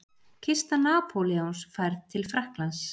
Kista Napóleons færð til Frakklands.